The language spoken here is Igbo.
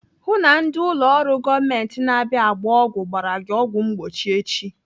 Hụụ na ndị ụlọ ọrụ gọọmenti na-abịa agba ọgwụ gbara gị ọgwụ mgbochi echi!